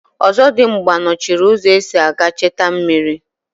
Ọzọdimgba nọchiri ụzọ esi aga echta mmiri.